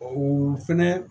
O fɛnɛ